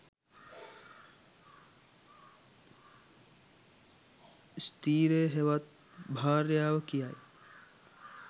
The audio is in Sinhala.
ස්ති්‍රය හෙවත් භාර්යාව කියායි.